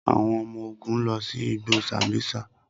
Awọn ọmọ-ogun lọ si igbo sambisa.